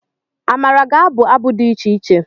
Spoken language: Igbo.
Amara ga-abụ abụ dị iche iche.